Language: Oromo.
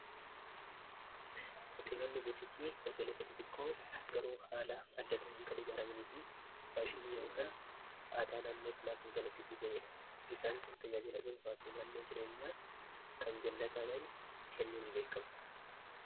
hoteelolli butitii hoteelotaati tikkoo garoo haala addatainkal ijaaramanii fi faashiniiyootan aadaa naannoo salaa ki jalaqqisiisaniidha isaan kun taaajiladhuun faafii naannoo jireenyaa kan jallataa ga'ee kennunni beekamu